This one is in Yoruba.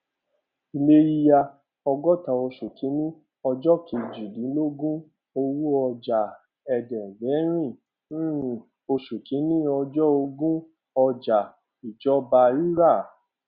ilé yíyá ọgóta oṣù kìíní ọjọ kejìdínlógún owó ọjà ẹdẹgbẹrin um oṣù kìíní ọjọ ogún ọjà ìjọba rírà